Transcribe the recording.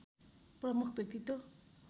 प्रमुख व्यक्तित्व